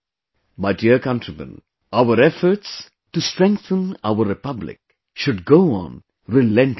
My dear countrymen, our efforts to strengthen our Republic should go on relentlessly